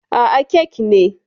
Aa, kek ne